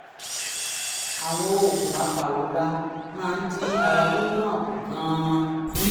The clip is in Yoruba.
àwọn oògùn apàrora máa ń dín ara wíwú náà kù gan-an